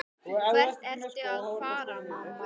Hvert ertu að fara, mamma?